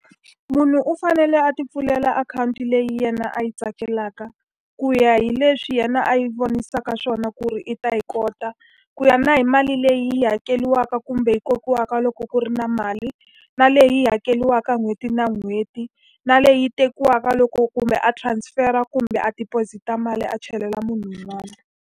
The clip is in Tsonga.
Munhu u fanele a ti pfulela akhawunti leyi yena a yi tsakelaka, ku ya hi leswi yena a yi vonisaka xiswona ku ri i ta yi kota. Ku ya na hi mali leyi hakeriwaka kumbe hi kokiwaka loko ku ri na mali, na leyi hakeriwaka n'hweti na n'hweti, na leyi tekiwaka loko kumbe a transfer-a kumbe a deposit-a mali a chelela munhu un'wana.